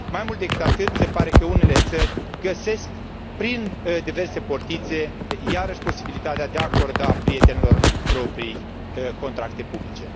Mai mult decât atât, se pare că unele țări găsesc, prin diverse portițe, iarăși posibilitatea de a acorda prietenilor proprii contracte publice.